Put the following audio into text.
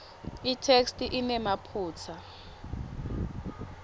itheksthi inemaphutsa